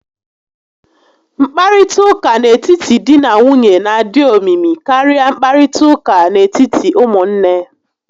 Nkparịta ụka n'etiti dị na nwunye n'adị omimi karịa nkparịta ụka n'etiti ụmụnne